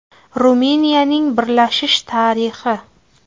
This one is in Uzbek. Ruminiyaning birlashishi tarixi.